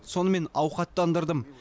сонымен ауқаттандырдым